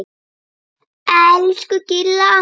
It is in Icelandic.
Elsku Gilla amma.